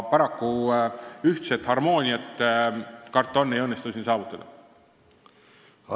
Aga harmooniat, karta on, ei õnnestu siin paraku saavutada.